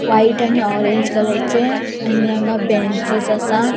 व्हाइट आणि ऑरेंज कलरचे आणि हांगा बेंचीस आसा.